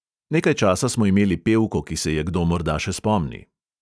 Nekaj časa smo imeli pevko, ki se je kdo morda še spomni.